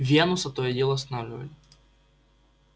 венуса то и дело останавливали